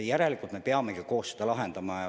Järelikult me peamegi koos seda lahendama.